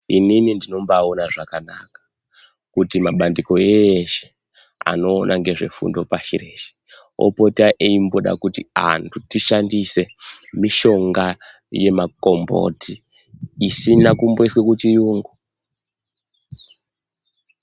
Inini ndinobaona zvakanaka kuti mabandiko eshe anoona ngezvefundo pashi reshe opota eimboda kuti antu tishandise mishonga yemakomboti isina kumboiswe kuchiyungu.